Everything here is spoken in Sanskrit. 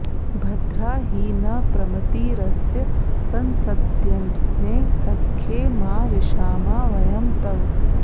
भ॒द्रा हि नः॒ प्रम॑तिरस्य सं॒सद्यग्ने॑ स॒ख्ये मा रि॑षामा व॒यं तव॑